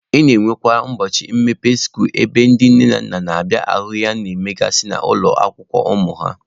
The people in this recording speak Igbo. E nwekwara ụbọchị mmepe skuulu ebe ndị nne na nna na-abịa ahụ ihe a na-emegasị n'ụlọ akwụkwọ ụmụ ha.